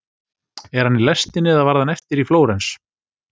Er hann í lestinni eða varð hann eftir í Flórens?